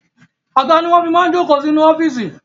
Àga ni wọn fi máa ń jókò inú ọ́fíìsì